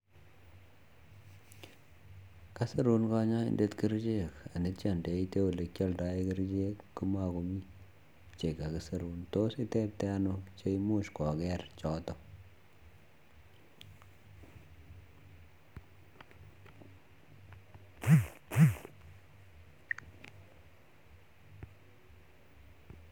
Kasirun kanyaindet kerchek atya ndeite ole kialdae kerchek komakomii che kakisirun tos itepte anoo cheimuch koker chotok